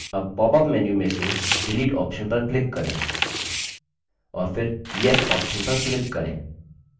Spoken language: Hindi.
अब popअप menu में से delete option पर click करें और फिर yes option पर click करें